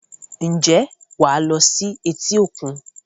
Ǹjẹ́ wàá lo sí etí-òkun?